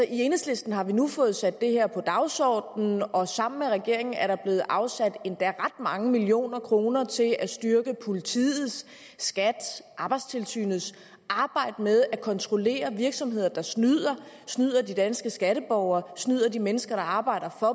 enhedslisten har vi nu fået sat det her på dagsordenen og sammen med regeringen er der blevet afsat endda ret mange millioner kroner til at styrke politiets skats og arbejdstilsynets arbejde med at kontrollere virksomheder der snyder snyder de danske skatteborgere og snyder de mennesker der arbejder for